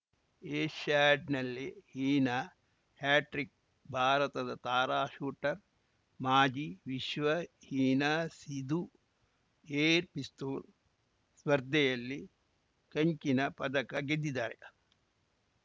ಏಷ್ಯಾಡ್‌ನಲ್ಲಿ Heena hat trick ಭಾರತದ ತಾರಾ shooter ಮಾಜಿ ವಿಶ್ವ ಹೀನಾ ಸಿಧು ಏರ್‌ ಪಿಸ್ತೂಲ್‌ ಸ್ಪರ್ಧೆಯಲ್ಲಿ ಕಂಚಿನ ಪದಕ ಗೆದ್ದಿದ್ದಾರೆ